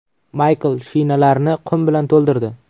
Maykl shinalarni qum bilan to‘ldirdi.